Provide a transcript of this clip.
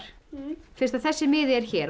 fyrst þessi miði er hér og